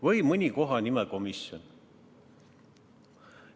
Või mõni kohanimekomisjon.